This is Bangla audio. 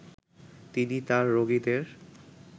তিনি তাঁর রোগীদের